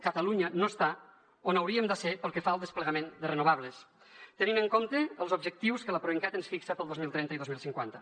catalunya no està on hauríem de ser pel que fa al desplegament de renovables tenint en compte els objectius que la proencat ens fixa per al dos mil trenta i el dos mil cinquanta